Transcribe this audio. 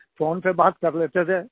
phone पर बात कर लेते थे